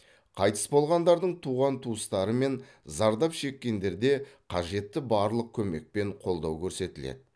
қайтыс болғандардың туған туыстары мен зардап шеккендерде қажетті барлық көмек пен қолдау көрсетіледі